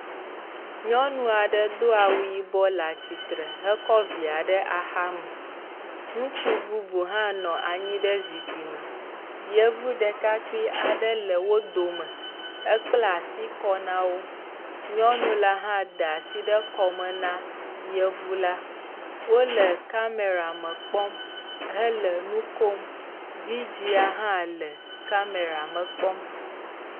Nyɔnua ɖe do awu yibɔ le atsitre hekɔ via ɖe axame. Ŋutsu bubu hã nɔ anyi ɖe zikpui me. Yevu ɖekakpui aɖe le wo dome. Ekpla si kɔ na wo. Nyɔnu la hã da asi ɖe kɔme na yevu la. Wole kamera me kpɔm hele nu kom. Vidzia hã le kamera me kpɔm.